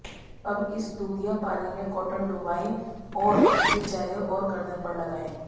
अब इस दूधिया पानी में कॉटन डुबोएं और उसे चेहरे और गर्दन पर लगाएं